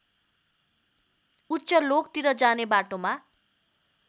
उच्चलोकतिर जाने बाटोमा